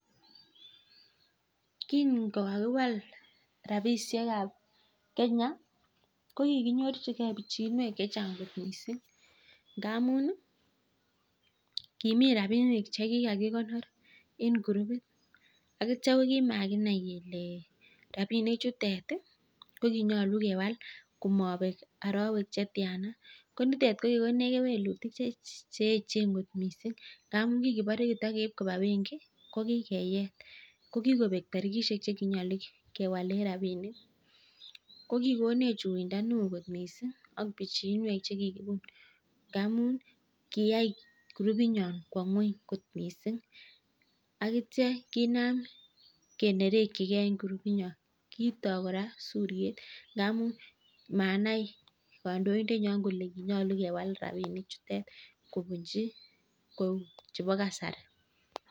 Kingewal rabishek ab kenya ko kikinyorjike bichinkwek chenga missing ngamun kimii rabinik che kikakikonorok eng (group) atyoo makinai kelee nyaluu kewal rabishek chotok kiai (group) nyoo kowaa ngony missing